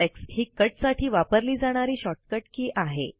CTRLX ही cut साठी वापरली जाणारी शॉर्टकट की आहे